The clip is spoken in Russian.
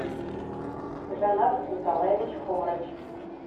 жанат николаевич хомрач